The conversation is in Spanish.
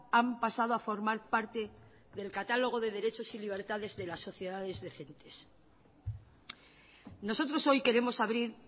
han pasado a formar parte del catálogo de derechos y libertades de las sociedades decentes nosotros hoy queremos abrir